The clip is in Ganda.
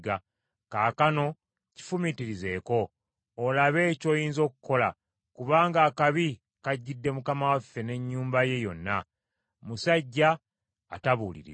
Kaakano kifumiitirizeeko, olabe ky’oyinza okukola, kubanga akabi kajjidde mukama waffe n’ennyumba ye yonna. Musajja atabuulirirwa.”